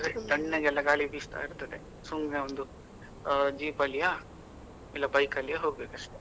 ತಣ್ಣಗೆಲ್ಲಾ ಗಾಳಿ ಬಿಸ್ತದೆ, ಸುಮ್ನೆ ಒಂದು jeep ಅಲ್ಲಿಯಾ, ಇಲ್ಲೊ bike ಅಲ್ಲಿಯ ಹೋಗ್ಬೇಕು ಅಷ್ಟೇ?